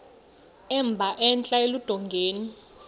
emba entla eludongeni